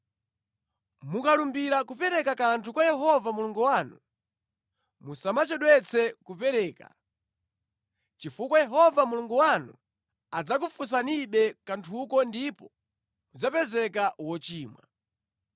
Mukalumbira kupereka kanthu kwa Yehova Mulungu wanu, musamachedwetse kupereka, chifukwa Yehova Mulungu wanu adzakufunsanibe kanthuko ndipo mudzapezeka wochimwa.